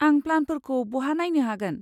आं प्लानफोरखौ बहा नायनो हागोन?